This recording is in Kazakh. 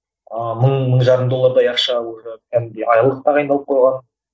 ыыы мың мың жарым доллардай ақша уже кәдімгідей айлық тағайындалып қойған